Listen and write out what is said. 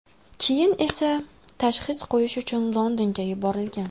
Keyin esa tashxis qo‘yish uchun Londonga yuborilgan.